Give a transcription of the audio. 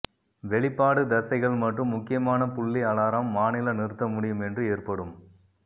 வெளிப்பாடு தசைகள் மற்றும் முக்கியமான புள்ளி அலாரம் மாநில நிறுத்த முடியும் என்று ஏற்படும்